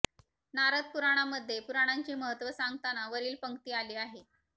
नारद पुराणामध्ये पुराणांचे महत्त्व सांगताना वरील पंक्ती आली आहे